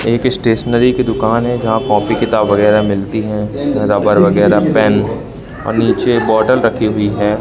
एक स्टेशनरी की दुकान है जहां कॉपी किताब वगैरह मिलती हैं रबर वगैरह पेन और नीचे एक बॉटल रखी हुई है।